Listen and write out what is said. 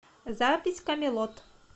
запись камелот